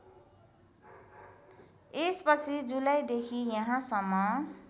यसपछि जुलाईदेखि यहाँसम्म